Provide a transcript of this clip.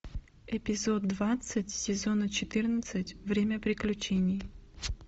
эпизод двадцать сезона четырнадцать время приключений